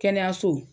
Kɛnɛyaso